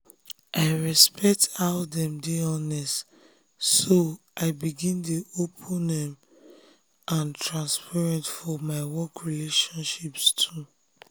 i respect how dem dey honest so i begin dey open um and transparent for my work relationships too.